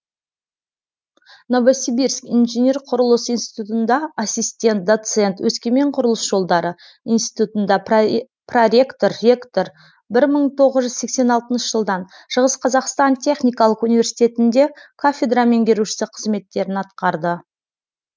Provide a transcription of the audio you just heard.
новосибирск инжинер құрылыс институтында ассистент доцент өскемен құрылыс жолдары институтында проректор ректор бір мың тоғыз жүз сексен алтыншы жылдан шығыс қазақстан техникалық университетінде кафедра меңгерушісі қызметтерін атқарды